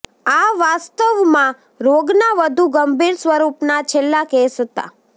આ વાસ્તવમાં રોગના વધુ ગંભીર સ્વરૂપના છેલ્લા કેસ હતા